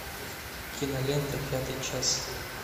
кинолента пятый час